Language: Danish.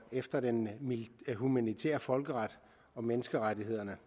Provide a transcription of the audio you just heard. efter den humanitære folkeret og menneskerettighederne